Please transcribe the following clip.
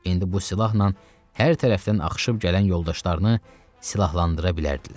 İndi bu silahla hər tərəfdən axışıb gələn yoldaşlarını silahlandıra bilərdilər.